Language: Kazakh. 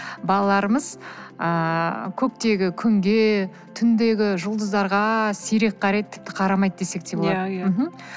балаларымыз ыыы көктегі күнге түндегі жұлдыздарға сирек қарайды тіпті қарамайды десек де болады мхм